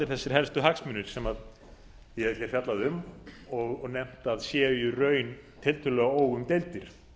þessir helstu hagsmunir sem ég hef hér fjallað um og nefnt að séu í raun tiltölulega óumdeildir